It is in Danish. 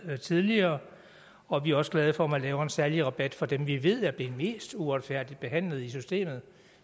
tidligere og vi er også glade for at man laver en særlig rabat for dem som vi ved er blevet mest uretfærdigt behandlet i systemet